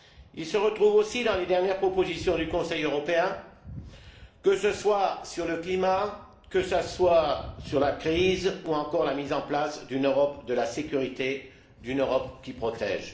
Il se reconnaît aussi dans les dernières propositions du Conseil européen, que ce soit sur le climat, la crise, ou encore la mise en place d'une Europe de la sécurité, d'une Europe qui protège.